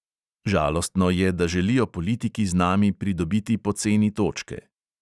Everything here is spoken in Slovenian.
Žalostno je, da želijo politiki z nami pridobiti poceni točke.